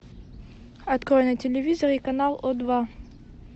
открой на телевизоре канал о два